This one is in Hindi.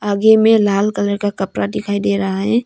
आगे मे लाल कलर का कपरा डिखाई डे रहा है।